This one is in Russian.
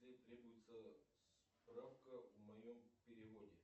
требуется справка о моем переводе